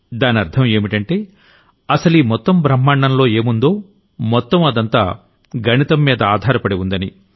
దానర్థం ఏంటంటే అసలీ మొత్తం బ్రహ్మాండంలో ఏముందో మొత్తం అదంతా గణితం మీదే ఆధారపడి ఉందని